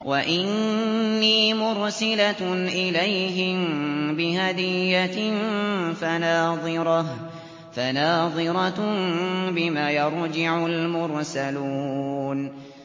وَإِنِّي مُرْسِلَةٌ إِلَيْهِم بِهَدِيَّةٍ فَنَاظِرَةٌ بِمَ يَرْجِعُ الْمُرْسَلُونَ